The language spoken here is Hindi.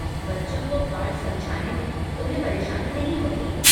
बच्चों को पाठ समझाने में तुम्हे परेशानी नहीं होती?